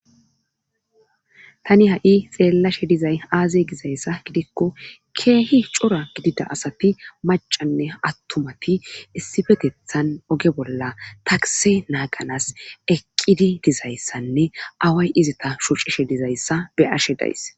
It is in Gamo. Tani ha7i xeellashe dizay aaze gizayssa gidikko keehi cora gidida asati macanne attumati issifetethan oge bolla takse naaganas eqqidi dizayssanne away izata shucishe dizayssa be ashe days.